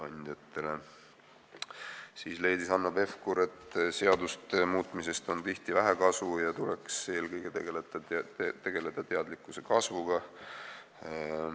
Hanno Pevkur leidis, et seaduste muutmisest on tihti vähe kasu ja eelkõige tuleks tegeleda teadlikkuse kasvuga.